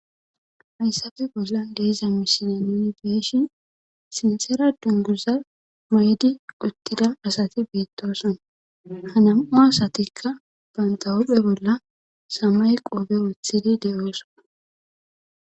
Haysappe bollan de'za misile nuni beyishn sinthera dunguza mayida asati betosona , ha nam'u asatika ba hu'e bolla samaye qoope wothid betosona.